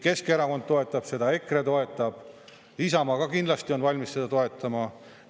Keskerakond toetab seda, EKRE toetab, Isamaa on ka kindlasti valmis seda toetama.